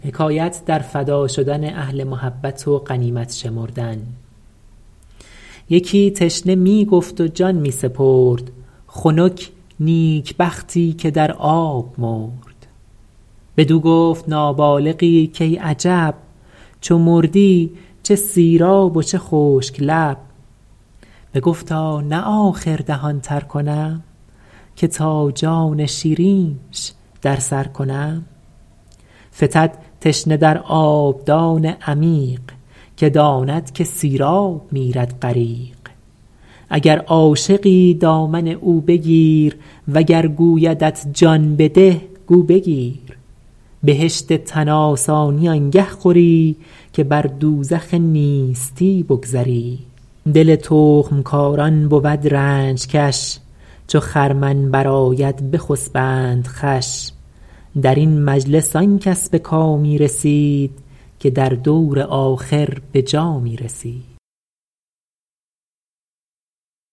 یکی تشنه می گفت و جان می سپرد خنک نیکبختی که در آب مرد بدو گفت نابالغی کای عجب چو مردی چه سیراب و چه خشک لب بگفتا نه آخر دهان تر کنم که تا جان شیرینش در سر کنم فتد تشنه در آبدان عمیق که داند که سیراب میرد غریق اگر عاشقی دامن او بگیر وگر گویدت جان بده گو بگیر بهشت تن آسانی آنگه خوری که بر دوزخ نیستی بگذری دل تخم کاران بود رنج کش چو خرمن برآید بخسبند خوش در این مجلس آن کس به کامی رسید که در دور آخر به جامی رسید